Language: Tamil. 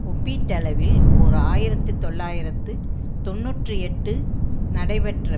ஒப்பீட்டளவில் ஓர் ஆயிரத்தி தொள்ளாயிரத்து தொன்னூற்றி எட்டு நடைபெற்ற